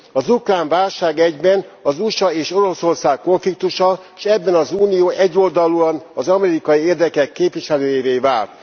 Az ukrán válság egyben az USA és Oroszország konfliktusa, és ebben az Unió egyoldalúan az amerikai érdekek képviselőjévé vált.